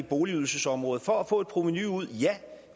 boligydelsesområdet for at få et provenu ud